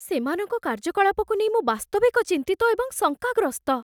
ସେମାନଙ୍କ କାର୍ଯ୍ୟକଳାପକୁ ନେଇ ମୁଁ ବାସ୍ତବିକ ଚିନ୍ତିତ ଏବଂ ଶଙ୍କାଗ୍ରସ୍ତ।